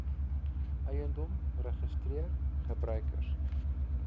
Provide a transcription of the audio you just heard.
eiendom registreer gebruikers